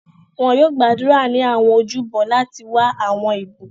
Wọn yoo gbàdúrà ni awọn ojúbọ láti wa awọn ibukun.